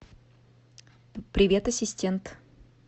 привет ассистент